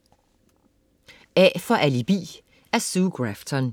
A for alibi af Sue Grafton